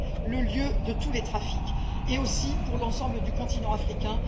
le lieu de tous les trafics, et aussi pour l'ensemble du continent africain.